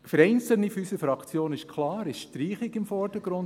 Für einzelne unserer Fraktion ist klar die Streichung im Vordergrund.